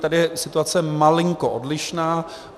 Tady je situace malinko odlišná.